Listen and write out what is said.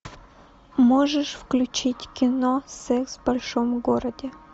можешь включить кино секс в большом городе